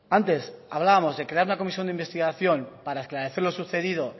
antes hablábamos de crear una comisión de investigación para esclarecer lo sucedido